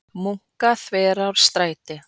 Munkaþverárstræti